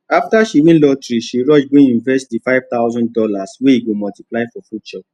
after she win lotteryshe rush go invest the five hundred thousand dollars wey go multiply for future